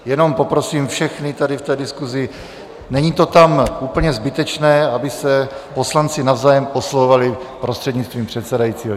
Jenom poprosím všechny tady v té diskusi, není to tam úplně zbytečné, aby se poslanci navzájem oslovovali prostřednictvím předsedajícího.